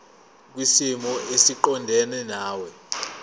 kwisimo esiqondena nawe